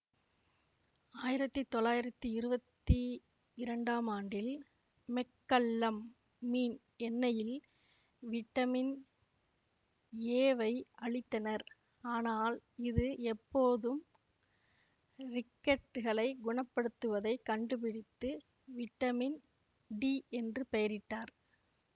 ஆயிரத்தி தொள்ளாயிரத்தி இருவத்தி இரண்டாம் ஆண்டில் மெக்கல்லம் மீன் எண்ணெயில் விட்டமின் ஏவை அழித்தனர் ஆனால் இது எப்போதும் ரிக்கெட்களை குணப்படுத்துவதைக் கண்டுபிடித்து விட்டமின் டி என்று பெயரிட்டார்